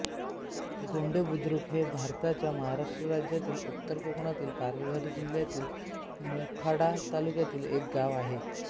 गोंडे बुद्रुक हे भारताच्या महाराष्ट्र राज्यातील उत्तर कोकणातील पालघर जिल्ह्यातील मोखाडा तालुक्यातील एक गाव आहे